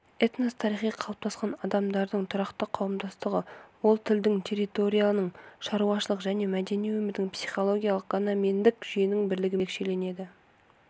этнос тарихи қалыптасқан адамдардың тұрақты қауымдастығы ол тілдің территорияның шаруашылық және мәдени өмірдің психикалықгомогендік жүйенің бірлігімен ерекшеленеді